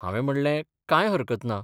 'हावें म्हणलें, कांय हरकत ना.